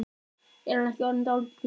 Er hann ekki orðinn dálítið naumur?